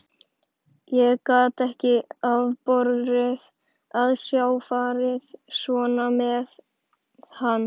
Ég gat ekki afborið að sjá farið svona með hann.